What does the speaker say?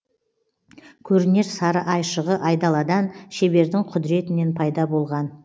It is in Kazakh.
көрінер сары айшығы айдаладан шебердің құдіретінен пайда болған